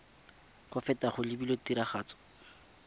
go feta go lebilwe tiragatso